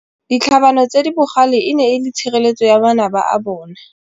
Ditlhabanô tse di bogale e ne e le tshirêlêtsô ya manaba a bone.